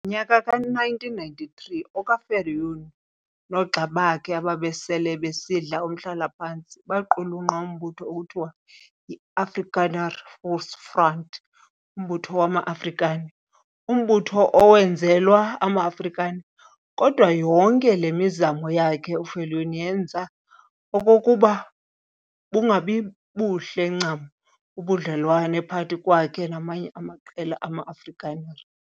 Ngonyaka ka-1993 oka-Viljoen noogxa bakhe ababesele besidla umhlala-phantsi baqhulunqa umbutho ekuthiwa yi-Afrikaner Volksfront, Umbutho wama-Afrikaner, umbutho owenzelwa ama-Afrikaner. Kodwa yonke le mizamo yakhe uViljoen yenza okokuba bungabibuhle ncam ubudlelwane phakathi kwakhe namanye amaqela ama-Afrikaner.